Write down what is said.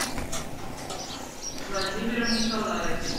владимиром николаевичем